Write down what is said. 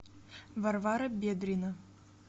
варвара бедрина